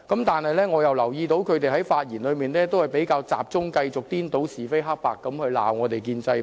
但是，我又留意到他們在發言時比較集中顛倒是非黑白地指責建制派。